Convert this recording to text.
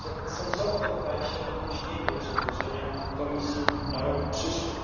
Tak że sensowne wydaje się opóźnienie jego przedłożenia przez Komisję na rok przyszły.